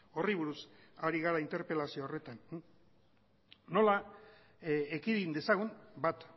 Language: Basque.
horri buruz ari gara interpelazio horretan nola ekidin dezagun bat